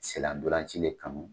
Sen na ntolan ci de kɔni